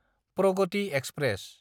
Pragati express